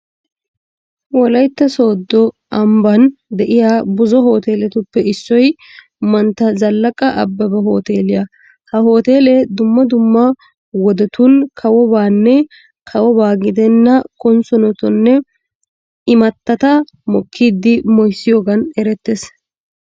Wolaytta sooddo ambban de'iya buzo hooteeletuppe issoy mantta Zallaqa abbebe hooteeliya ha hooteelee dumma dumma wodetun kawobanne kawoba gidenna konssonotanne imattata mokkidi moyssiyogan erettees.